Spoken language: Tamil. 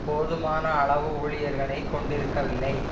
போதுமான அளவு ஊழியர்களை கொண்டிருக்கவில்லை